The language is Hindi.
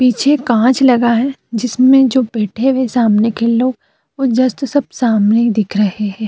पीछे कांच लगा है जिसमे जो बैठे हुए सामने के लोग वो जस्ट सब सामने ही दिख रहें हैं।